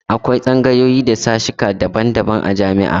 Akwai tsangayoyi da sashesheka daban-daban a jami'a.